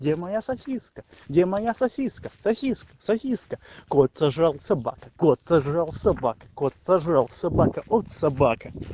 где моя сосиска где моя сосиска сосиска сосиска кот сожрал собака кот сожрал собака кот сожрал собака от собака